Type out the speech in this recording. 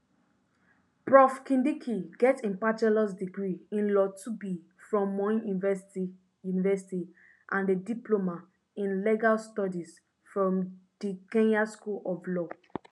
prof kindiki get im bachelors degree in law llb from moi university university and a diploma in legal studies from di kenya school of law